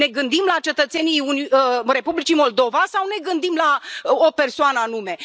Ne gândim la cetățenii Republicii Moldova sau ne gândim la o persoană anume?